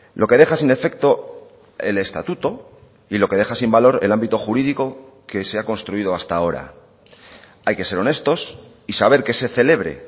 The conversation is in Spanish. lo que deja sin efecto el estatuto y lo que deja sin valor el ámbito jurídico que se ha construido hasta ahora hay que ser honestos y saber que se celebre